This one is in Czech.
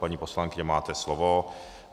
Paní poslankyně, máte slovo.